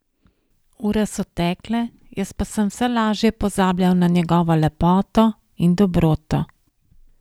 Ure so tekle, jaz pa sem vse laže pozabljal na njegovo lepoto in dobroto.